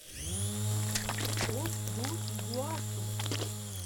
фос ду игуасу